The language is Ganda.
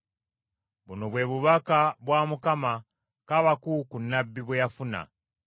Buno bwe bubaka bwa Mukama , Kaabakuuku nnabbi bwe yafuna.